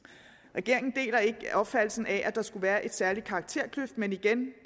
regeringen deler ikke opfattelsen af at der skulle være en særlig karakterkløft men igen